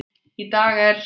Í dag er